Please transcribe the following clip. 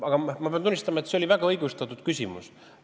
Aga ma pean tunnistama, et see oli väga õigustatud küsimus.